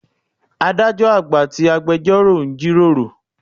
Adájọ́ àgbà àti agbẹjórò ń jí ròrò.